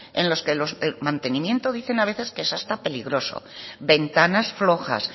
en los que los de mantenimiento dicen a veces que es hasta peligroso ventanas flojas